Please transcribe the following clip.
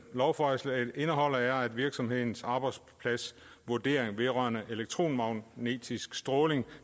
lovforslaget indeholder er at virksomhedens arbejdspladsvurdering vedrørende elektromagnetisk stråling